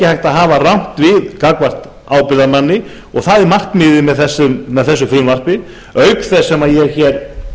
að hafa rangt við gagnvart ábyrgðarmanna og það er markmiðið með þessu frumvarpi auk þess sem ég hér